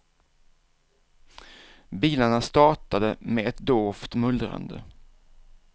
Bilarna startade med ett dovt mullrande.